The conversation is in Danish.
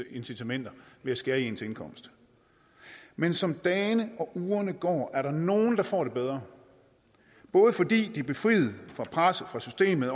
incitamenter ved at skære i ens indkomst men som dagene og ugerne går er der nogle der får det bedre både fordi de er befriet for presset fra systemet